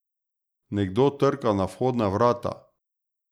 Nekdo trka na vhodna vrata.